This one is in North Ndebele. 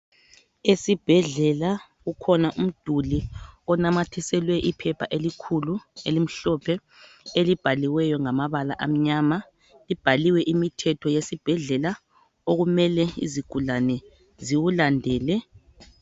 Esibhedlela kukhona umduli onamathiselwe iphepha elikhulu elimhlophe, elibhaliweyo ngamabala amnyama, libhaliwe imithetho yesibhedlela okumele izigulane ziwulandele.